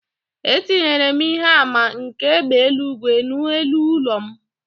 Etinyere m ihe àmà nke égbè eluigwe n’elu ụlọ m